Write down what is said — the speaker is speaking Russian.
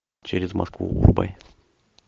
через москву врубай